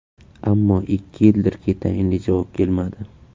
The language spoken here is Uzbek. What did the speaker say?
Ammo ikki yildirki, tayinli javob kelmadi.